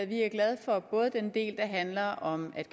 vi er glade for den del handler om at